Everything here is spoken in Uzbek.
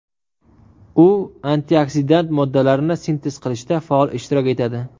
U antioksidant moddalarni sintez qilishda faol ishtirok etadi.